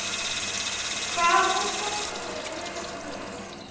Heiðbjörg, hvaða stoppistöð er næst mér?